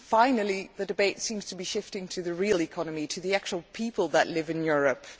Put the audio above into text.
Finally the debate seems to be shifting to the real economy and to the actual people who live in Europe.